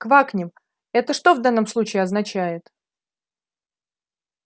квакнем это что в данном случае означает